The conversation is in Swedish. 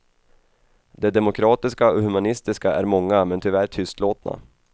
De demokratiska och humanistiska är många men tyvärr tystlåtna.